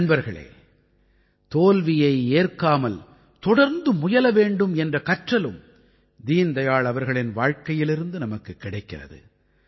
நண்பர்களே தோல்வியை ஏற்காமல் தொடர்ந்து முயல வேண்டும் என்ற கற்றலும் தீன் தயாள் அவர்களின் வாழ்க்கையிலிருந்து நமக்குக் கிடைக்கிறது